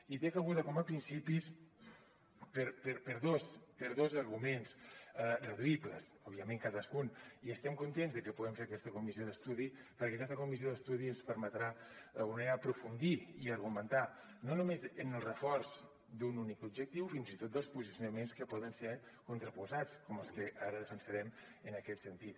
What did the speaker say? hi té cabuda com a principis per dos arguments reduïbles òbviament cadascun i estem contents de que puguem fer aquesta comissió d’estudi perquè aquesta comissió d’estudi ens permetrà d’alguna manera aprofundir i argumentar no només en el reforç d’un únic objectiu fins i tot dels posicionaments que poden ser contraposats com els que ara defensarem en aquest sentit